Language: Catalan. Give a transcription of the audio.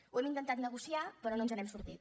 ho hem intentat negociar però no ens n’hem sortit